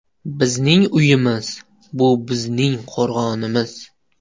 Bizning uyimiz – bu bizning qo‘rg‘onimiz.